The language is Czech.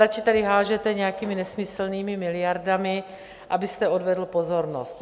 Radši tady házíte nějakými nesmyslnými miliardami, abyste odvedl pozornost.